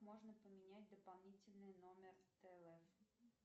можно поменять дополнительный номер тв